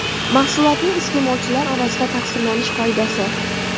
Mahsulotning iste’molchilar orasida taqsimlanish qoidasi.